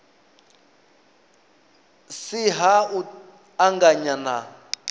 si ha u anganya na